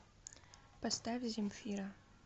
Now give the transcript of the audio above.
поставь земфира